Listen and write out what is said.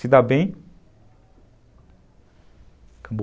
Se dar bem... Acabou.